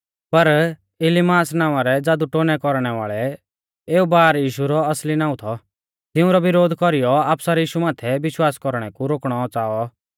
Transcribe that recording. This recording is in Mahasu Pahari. पर इलीमास नावां रै ज़ादुटोन्है कौरणै वाल़ै एऊ बारयीशु रौ असली नाऊं थौ तिऊंरौ विरोध कौरीयौ अफसर यीशु माथै विश्वास कौरणै कु रोकणौ च़ाऔ